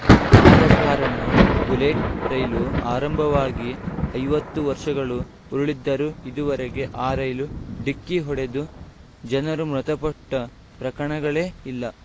ಆದ ಕಾರಣ ಬುಲೆಟ್‌ ರೈಲು ಆರಂಭವಾಗಿ ಐವತ್ತು ವರ್ಷಗಳು ಉರುಳಿದ್ದರೂ ಇದುವರೆಗೂ ಆ ರೈಲು ಡಿಕ್ಕಿ ಹೊಡೆದು ಜನರು ಮೃತಪಟ್ಟಪ್ರಕರಣಗಳೇ ಇಲ್ಲ